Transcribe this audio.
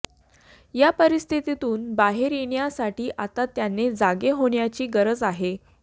या परिस्थितीतून बाहेर येण्यासाठी आता त्याने जागे होण्याची गरज आहे